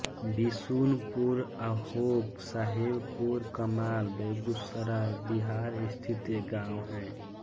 बिशुनपुर आहोक साहेबपुरकमाल बेगूसराय बिहार स्थित एक गाँव है